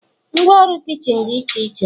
Ngwa ọrụ kichin dị iche iche